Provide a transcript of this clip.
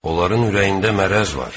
Onların ürəyində mərrəz var.